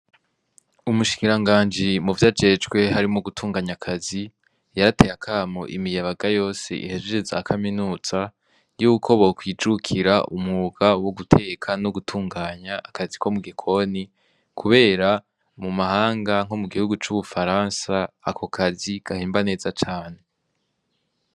Umushikira nganji muvyo ajejwe harimwo gutunganya akazi yarateye akamo imiyabaga yose ihejeje za kaminuza yuko bo kwijukira umwuga wo guteka no gutunganya akazi ko mu gikoni kubera mu mahanga nko mu gihugu cu Buransa ako kazi gahemba neza cane.